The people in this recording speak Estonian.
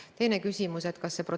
Aitäh täiendava küsimuse eest!